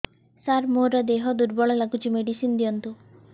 ସାର ମୋର ଦେହ ଦୁର୍ବଳ ଲାଗୁଚି ମେଡିସିନ ଦିଅନ୍ତୁ